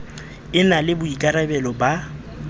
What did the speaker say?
e na le boikarabelo ba